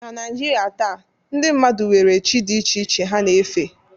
Na Naijiria taa, ndị mmadụ nwere chi dị iche iche ha na-efe